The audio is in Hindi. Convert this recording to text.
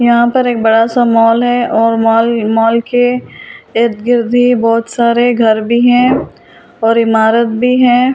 यहां पर एक बड़ा सा मॉल है और मॉल मॉल के इर्दगिर्द बहुत सारे घर भी हैं और इमारत भी है।